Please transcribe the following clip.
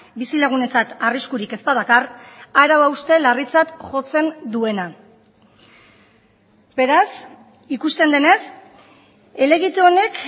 bizilagunentzat arriskurik ez badakar arau hauste larritzat jotzen duena beraz ikusten denez helegite honek